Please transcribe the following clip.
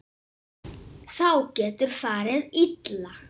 Þá getur farið illa.